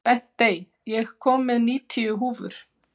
Bentey, ég kom með níutíu húfur!